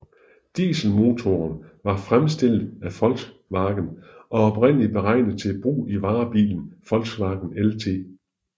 Dieselmotoren var fremstillet af Volkswagen og oprindeligt beregnet til brug i varebilen Volkswagen LT